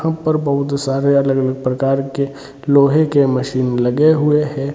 यहाँ पर बहुत सारे अलग अलग प्रकार के लोहे के मशिन लगे हुए हैं।